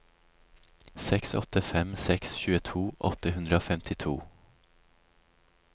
seks åtte fem seks tjueto åtte hundre og femtito